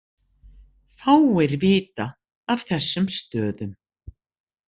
Fáir vita af þessum stöðum